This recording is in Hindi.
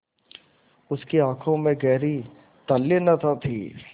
उसकी आँखों में गहरी तल्लीनता थी